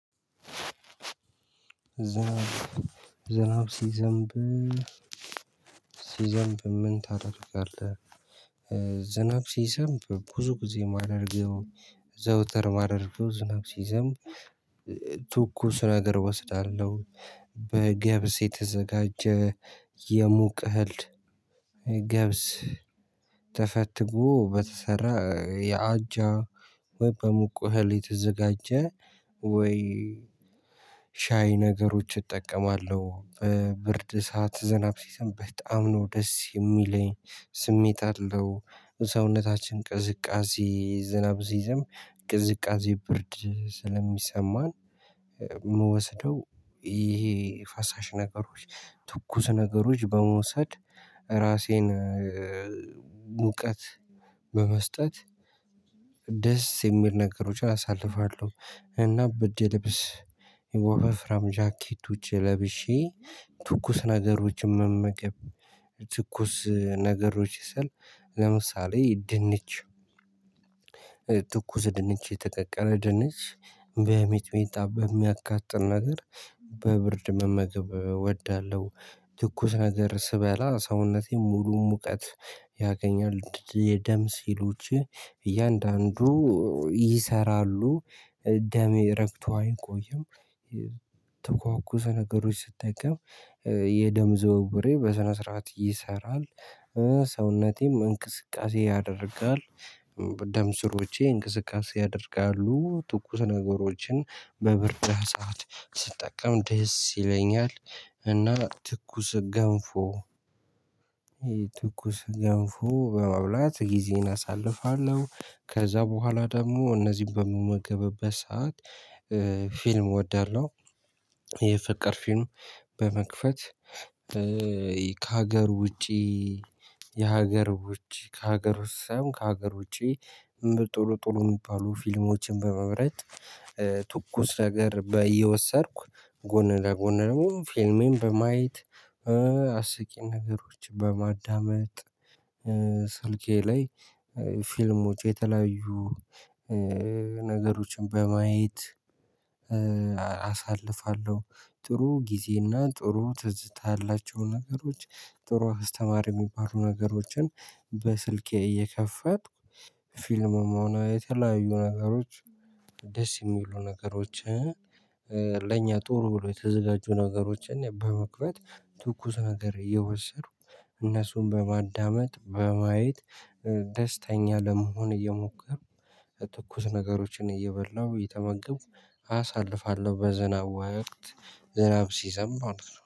ዝናብ ሲዘንብ ሲዘንብ ምን ታደርጋለህ? ዝናብ ሲዘንብ ብዙ ጊዜ ማድረግ ዘውተር ማደርገው ዝናብ ሲዘንብ ትኩስ ነገር እወስዳለሁ በገብስ የተዘጋጀ የሙቅ እህል ገብስ ተፈትጎ በተሰራ የአጃ ወይ በሙቅ እህል የተዘጋጀ ወይ ሻይ ነገሮች እጠቀማለሁ ብርድ ሰዓት ዝናብ ሲዘንብ በጣም ነው ደስ የሚለኝ ስሜት አለው። ሰውነታችን ቅዝቃዜ ዝናብ ሲዘንብ ቅዝቃዜ ብርድ ስለሚሰማን የምወስደው ይሄ ፈሳሽ ነገሮች ትኩስ ነገሮች በመውሰድ ራሴን ሙቀት በመስጠት ደስ የሚል ነገሮችን አሳልፋለሁ። እና በርድ ልብስ ውፋፍራም ጃኬት ለብሼ ትኩስ ነገሮችን መመገብ ትኩስ ነገሮች ስል ለምሳሌ ድንች ትኩስ ድንች የተቀቀለ ድንች በሚጥሚጣ በሚያቃጥል ነገር በብርድ መመገብ እወዳለሁ። ትኩስ ነገር ስበላ ሰውነቴን ሙሉ ሙቀት ያገኛል የደም ሴሎቸ እያንዳንዱ ይሰራሉ ደም ረግቶ አይቆይም ተኳኩሰ ነገሮች ስትጠቀም የደም ዝውውሬ በሰነ ስርዓት ይሰራል። ሰውነቴም እንቅስቃሴ ያደርጋል ደም ስሮቼ እንቅስቃሴ ያደርጋሉ ትኩስ ነገሮችን በብርድ ሰዓት ስትጠቀም ደስ ይለኛል። እና ትኩስ ገንፎ ትኩስ ገንፎ በመብላት ጊዜን አሳልፋለሁ ከዛ በኋላ ደግሞ እነዚህን በምመገብበት ሰዓት ፊልም እወዳለሁ። የፍቅር ፊልም በመክፈት ከሀገር ውጪ የሀገር ውጪ ከሀገር ውሳኔም ከሀገር ውጪም ጥሩጥሩ የሚባሉ ፊልሞችን በመምረጥ ትኩስ ነገር በየወሰድኩ ጎን ለጎን ደግሞ ፊልሚን በማየት አስቂኝ ነገሮችን በማዳመጥ ስልኬ ላይ ፊልሞች የተለያዩ ነገሮችን በማየት አሳልፋለሁ። ጥሩ ጊዜና ጥሩ ትዝታ ያላቸው ነገሮች ጥሩ አስተማሪ የሚባሉ ነገሮችን በስልኬ እየከፈትኩ ፊልም ሆነ የተለያዩ ነገሮች ደስ የሚሉ ነገሮችን ለእኛ ጥሩ ብሎ የተዘጋጁ ነገሮችን በመክፈት ትኩስ ነገር እየወሰዱ እነሱን በማዳመጥ በማየት ደስተኛ ለመሆን እየሞከርኩ ትኩስ ነገሮችን እየበላሁ እየተመገብኩ አሳልፋለሁ። በዝናብ ወቅት ዝናብ ሲዘንብ